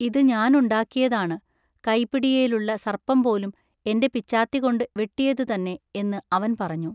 “ഇതു ഞാൻ ഉണ്ടാക്കിയതാണു. ൟ കൈപിടിയേലുള്ള സർപ്പംപോലും എന്റെ പിച്ചാത്തികൊണ്ടു വെട്ടിയതു തന്നെ എന്നു അവൻ പറഞ്ഞു.